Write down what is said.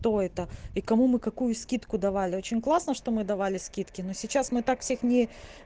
кто это и кому мы какую скидку давали очень классно что мы давали скидки но сейчас мы так всех не